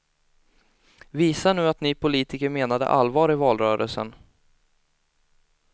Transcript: Visa nu att ni politiker menade allvar i valrörelsen.